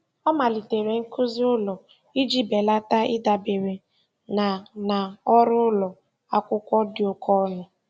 Ọ malitere nkuzi ụlọ iji belata ịdabere na na ọrụ ụlọ akwụkwọ dị oke ọnụ.